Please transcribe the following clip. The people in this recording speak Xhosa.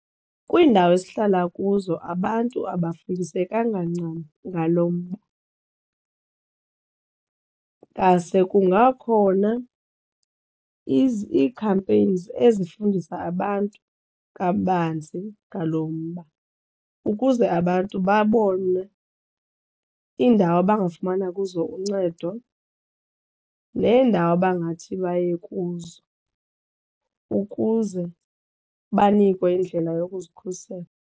Kwiindawo esihlala kuzo abantu abafundisekanga ncam ngalo mba ngase kungakhona ii-campaigns ezifundisa abantu kabanzi ngalo mba ukuze abantu babone iindawo abangafumana kuzo uncedo neendawo bangathi baye kuzo ukuze banikwe indlela yokuzikhusela.